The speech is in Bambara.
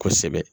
Kosɛbɛ